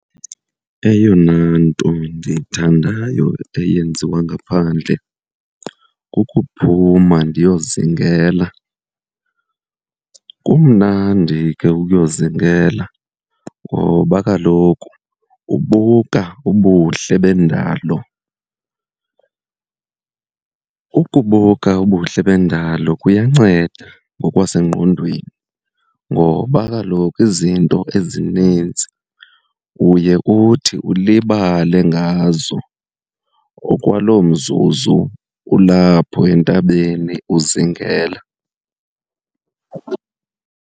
Eyona nto ndiyithandayo eyenziwa ngaphandle kukuphuma ndiyozingela. Kumnandi ke ukuyozingela ngoba kaloku ubuka ubuhle bendalo. Ukubuka ubuhle bendalo kuyanceda ngokwasengqondweni ngoba kaloku izinto ezinintsi uye uthi ulibale ngazo okwaloo mzuzu ulapho entabeni uzingela.